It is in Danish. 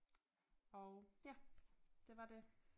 Og ja det var det